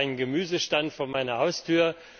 Ich habe einen Gemüsestand vor meiner Haustür.